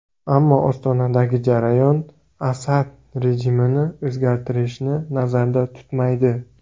Ammo Ostonadagi jarayon Asad rejimini o‘zgartirishni nazarda tutmaydi.